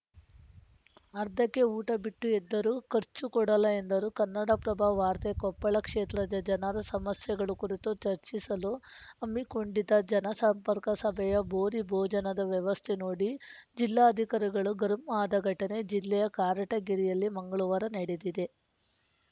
ಅರ್ಧಕ್ಕೇ ಊಟ ಬಿಟ್ಟು ಎದ್ದರು ಖರ್ಚು ಕೊಡಲ್ಲ ಎಂದರು ಕನ್ನಡಪ್ರಭ ವಾರ್ತೆ ಕೊಪ್ಪಳ ಕ್ಷೇತ್ರದ ಜನರ ಸಮಸ್ಯೆಗಳ ಕುರಿತು ಚರ್ಚಿಸಲು ಹಮ್ಮಿಕೊಂಡಿದ್ದ ಜನಸಂಪರ್ಕ ಸಭೆಯ ಭೂರಿ ಭೋಜನದ ವ್ಯವಸ್ಥೆ ನೋಡಿ ಜಿಲ್ಲಾಧಿಕಾರಿಗಳು ಗರಂ ಆದ ಘಟನೆ ಜಿಲ್ಲೆಯ ಕಾರಟೆಗಿರಿಯಲ್ಲಿ ಮಂಗಳವಾರ ನಡೆದಿದೆ